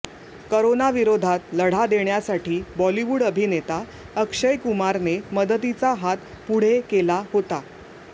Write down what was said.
करोनाविरोधात लढा देण्यासाठी बॉलिवूड अभिनेता अक्षय कुमारने मदतीचा हात पुढे केला होता